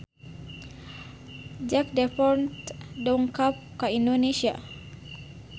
Jack Davenport dongkap ka Indonesia